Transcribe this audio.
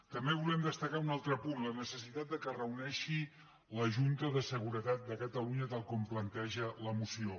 també volem destacar un altre punt la necessitat que es reuneixi la junta de seguretat de catalunya tal com planteja la moció